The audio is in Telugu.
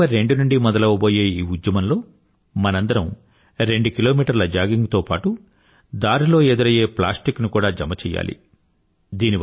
అక్టోబర్ 2 నుండి మొదలవబోయే ఈ ఉద్యమంలో మనందరం రెందు కిలోమీటర్ల జాగింగ్ తో పాటూ దారిలో ఎదురయ్యే ప్లాస్టిక్ ని కూడా జమ చెయ్యాలి